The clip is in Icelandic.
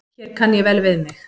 Hér kann ég vel við mig.